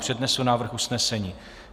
Přednesu návrh usnesení.